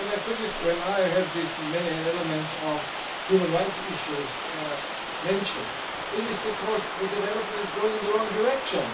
When I heard these many elements of human rights issues mentioned, it is because the development is going in the wrong direction.